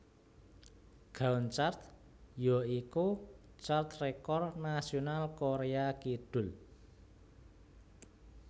Gaon Chart ya iku chart rekor nasional Koréa Kidul